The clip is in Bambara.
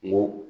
Kungo